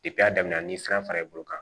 a daminɛ ni san fara i bolo kan